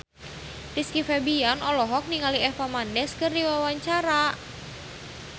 Rizky Febian olohok ningali Eva Mendes keur diwawancara